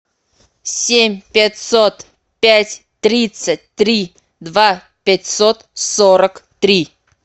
семь пятьсот пять тридцать три два пятьсот сорок три